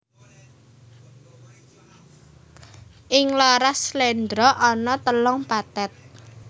Ing laras sléndra ana telung pathet